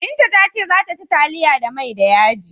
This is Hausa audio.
Binta ta ce za ta ci taliya da mai da yaji.